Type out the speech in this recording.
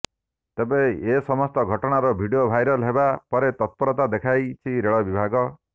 ତେବେ ଏସମସ୍ତ ଘଟଣାର ଭିଡିଓ ଭାଇରାଲ ହେବା ପରେ ତତ୍ପରତା ଦେଖାଇଛି ରେଳ ବିଭାଗ